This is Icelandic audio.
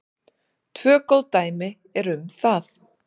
Tvö góð dæmi eru um það.